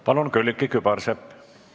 Palun, Külliki Kübarsepp!